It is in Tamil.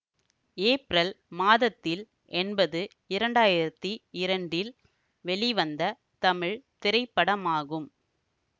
ஏப்ரல் மாதத்தில் என்பது இரண்டாயிரத்தி இரண்டில் வெளிவந்த தமிழ் திரைப்படமாகும்